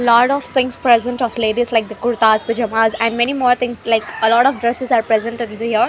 Lot of things present of ladies like kurtas pyjamas and many more things like a lot of dresses are present in the here.